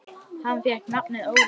Hann fékk nafnið Óli.